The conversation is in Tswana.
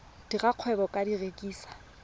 dira kgwebo ka go rekisa